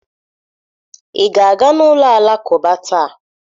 Ị ga-aga n'ụlọ Alakụba taa?